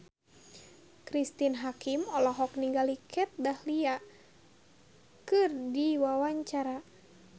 Cristine Hakim olohok ningali Kat Dahlia keur diwawancara